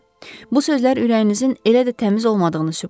Bu sözlər ürəyinizin elə də təmiz olmadığını sübut edir.